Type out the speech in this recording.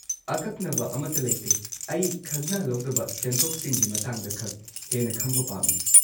ꯑꯀꯛꯅꯕ ꯑꯃꯠꯇ ꯂꯩꯇꯦ, ꯑꯩ ꯈꯖꯅꯥ ꯂꯧꯗꯕ ꯁꯦꯟꯊꯣꯛꯁꯤꯡꯒꯤ ꯃꯇꯥꯡꯗꯈꯛ ꯍꯦꯟꯅ ꯈꯪꯕ ꯄꯥꯝꯃꯤ꯫